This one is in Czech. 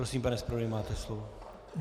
Prosím, pane zpravodaji, máte slovo.